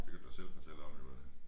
Det kan du da selv fortælle om jo øh